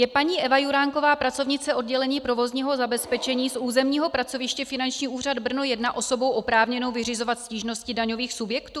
Je paní Eva Juráková, pracovnice oddělení provozního zabezpečení z územního pracoviště Finanční úřad Brno 1, osobou oprávněnou vyřizovat stížnosti daňových subjektů?